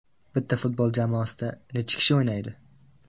Bitta futbol jamoasida nechi kishi o‘ynaydi?!